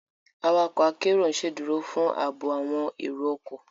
Awakọ akero n ṣeduro fun aabo awọn ero ọkọ